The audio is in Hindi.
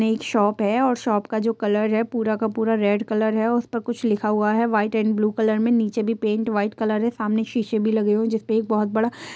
यह एक शॉप है शॉप का जो कलर है पूरा का पूरा रेड कलर है और उस पर कुछ लिखा हुआ है व्हाइट एंड ब्लू कलर में नीचे भी पेंट व्हाइट कलर है। सामने सीसे भी लगे हुए जिसमें एक बहुत बड़ा--